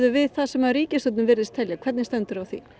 við það sem ríkisstjórnin virðist telja hvernig stendur á því